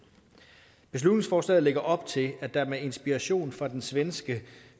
beslutningsforslaget lægger op til at der med inspiration fra den svenske